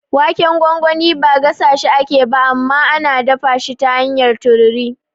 Waken gwangwani ba gasashi ake ba, amma ana dafa shi ta hanyar tururi.